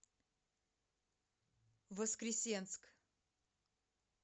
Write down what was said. воскресенск